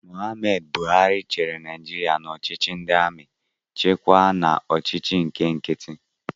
M. Buhari chịrị Naijiria n'ọchịchị ndị amị, chịkwaa n'ọchịchị ndị nkiti